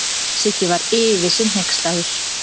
Siggi var yfir sig hneykslaður.